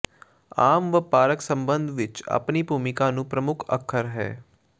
ਆਮ ਵਪਾਰਕ ਸਬੰਧ ਵਿਚ ਆਪਣੀ ਭੂਮਿਕਾ ਨੂੰ ਪ੍ਰਮੁੱਖ ਅੱਖਰ ਹੈ